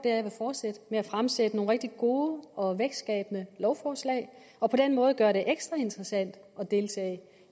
er at fortsætte med at fremsætte nogle rigtig gode og vækstskabende lovforslag og på den måde gøre det ekstra interessant at deltage